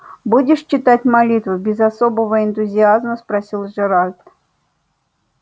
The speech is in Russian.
будешь читать молитву без особого энтузиазма спросил джералд